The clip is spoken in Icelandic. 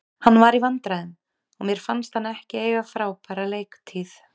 Hann var í vandræðum og mér fannst hann ekki eiga frábæra leiktíð.